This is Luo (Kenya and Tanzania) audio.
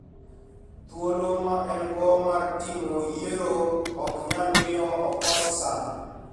Thuolo ma en go mar timo yiero, ok nyal miyo okos sand